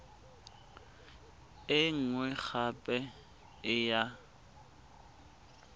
e nngwe gape e ya